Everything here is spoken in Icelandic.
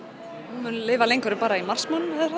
hún mun lifa lengur en bara í mars